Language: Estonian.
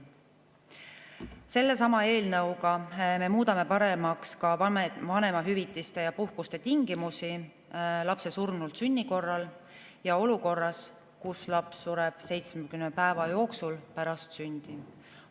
Sellesama eelnõuga me muudame paremaks ka vanemahüvitise ja ‑puhkuse tingimusi lapse surnultsünni korral ja olukorras, kus laps sureb 70 päeva jooksul pärast sündi.